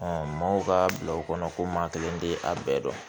maaw ka bila o kɔnɔ ko maa kelen tɛ a bɛɛ dɔn